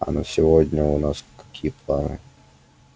а на сегодня у нас какие планы